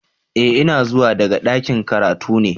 Eh ina zuwa daga dakin karatu ne.